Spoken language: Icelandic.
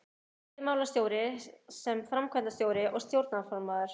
Ef veiðimálastjóri sem framkvæmdastjóri og stjórnarformaður